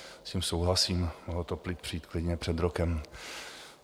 S tím souhlasím, mohlo to přijít klidně před rokem.